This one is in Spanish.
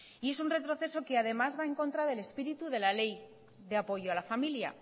es un retroceso que además va en contra del espíritu de la ley de apoyo a la familia